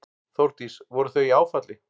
Þórdís: Voru þau í áfalli?